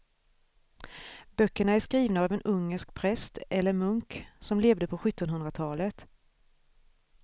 Böckerna är skrivna av en ungersk präst eller munk som levde på sjuttonhundratalet.